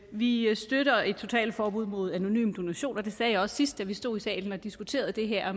vi støtter et totalforbud mod anonyme donationer og det sagde jeg også sidst vi stod i salen og diskuterede det her